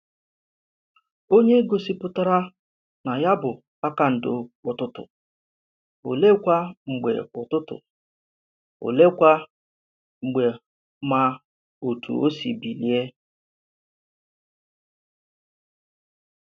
Ònye gòsìpùtàrà na ya bụ kpakàndò Ụ̀tụ̀tụ̀, òleèkwa mgbe Ụ̀tụ̀tụ̀, òleèkwa mgbe mà òtù o sì ‘bílíè’?